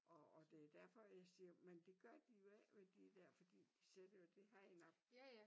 Og og det derfor jeg siger men det gør de jo ej vel de der fordi de sætter jo det hegn op